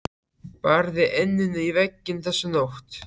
Barði enninu í vegginn þessa nótt.